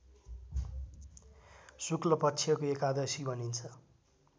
शुक्लपक्षको एकादशी भनिन्छ